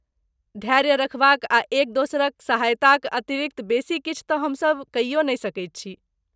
धैर्य रखबाक आ एक दोसरक सहायताक अतिरिक्त बेसी किछु तँ हमसभ कइयो नहि सकैत छी।